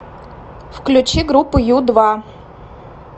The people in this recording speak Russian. включи группу ю два